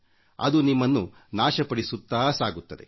ಅದು ನಿಮ್ಮನ್ನು ನಾಶಪಡಿಸುತ್ತಾ ಸಾಗುತ್ತದೆ